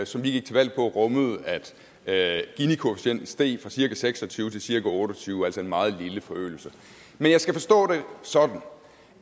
som vi gik til valg på rummede at ginikoefficienten steg fra cirka seks og tyve til cirka otte og tyve altså en meget lille forøgelse men jeg skal forstå det sådan